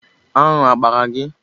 Anụ abara gị?